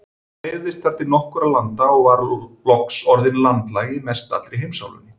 Hún dreifðist þar til nokkurra landa og var loks orðin landlæg í mestallri heimsálfunni.